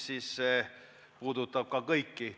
See puudutab kõiki.